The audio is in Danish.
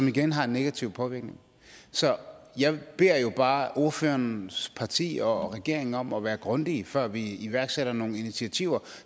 igen har en negativ påvirkning så jeg beder jo bare ordførerens parti og regeringen om at være grundige før vi iværksætter nogle initiativer